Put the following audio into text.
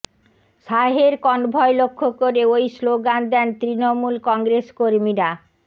শাহের কনভয় লক্ষ্য করে ওই স্লোগান দেন তৃণমূল কংগ্রেস কর্মীরা